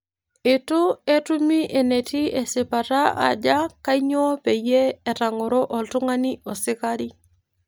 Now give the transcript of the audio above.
Itu etumi enitii esipata aaja kanyioo peyie etang'oro oltung'ani osikari